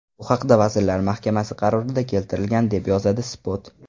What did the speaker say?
Bu haqda Vazirlar Mahkamasi qarorida keltirilgan, deb yozadi Spot.